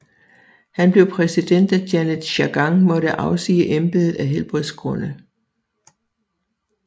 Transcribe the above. Han blev præsident da Janet Jagan måtte afsige embedet af helbredsgrunde